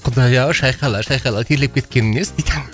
құдай ау шайқала шайқала терлеп кеткенім несі дейді